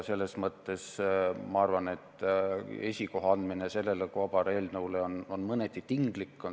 Seetõttu arvan ma, et esikoha andmine sellele kobareelnõule on mõneti tinglik.